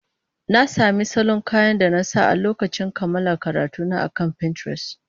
Na sami salon kayan da na sa a lokacin kammala karatuna akan Pinterest.